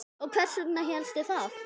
Og hvers vegna hélstu það?